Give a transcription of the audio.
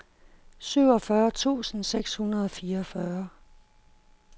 syvogfyrre tusind seks hundrede og fireogfyrre